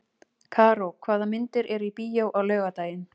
Karó, hvaða myndir eru í bíó á laugardaginn?